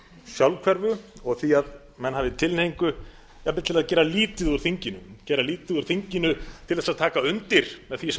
sjálfhverfu og því að menn hafi tilhneigingu jafnvel til að gera lítið úr þinginu gera lítið úr þinginu til þess að taka undir með því